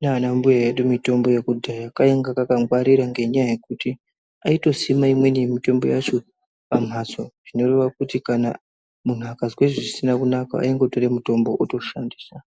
naanambuya edu mitombo yekudhara kainge kakangwarira, ngenyaya yekuti aitosima imweni mitombo yacho pambatso zvinoreva kuti kana muntu akazwa zvisina kunaka aingotora mitombo otoshandisa